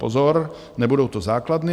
Pozor, nebudou to základny!